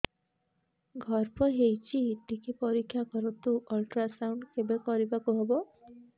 ଗର୍ଭ ହେଇଚି ଟିକେ ପରିକ୍ଷା କରନ୍ତୁ ଅଲଟ୍ରାସାଉଣ୍ଡ କେବେ କରିବାକୁ ହବ